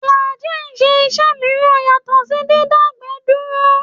Fùlàájì ń ṣe iṣẹ́ mìíràn yàtọ̀ sí dídágbẹ̀ẹ́ dúró